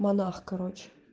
монах короче